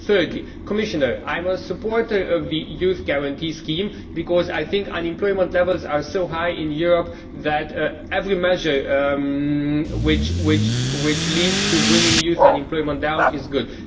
Thirdly, Commissioner, I am a supporter of the Youth Guarantee Scheme because I think unemployment levels are so high in Europe that every measure which leads to bringing youth unemployment down is good.